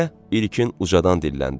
deyə İlkin ucadan dilləndi.